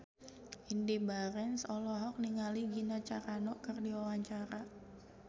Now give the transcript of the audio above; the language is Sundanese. Indy Barens olohok ningali Gina Carano keur diwawancara